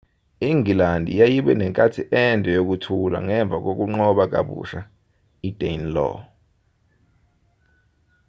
ingilandi yayibe nenkathi ende yokuthula ngemva kokunqoba kabusha idanelaw